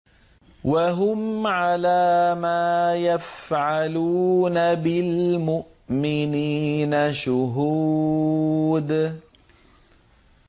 وَهُمْ عَلَىٰ مَا يَفْعَلُونَ بِالْمُؤْمِنِينَ شُهُودٌ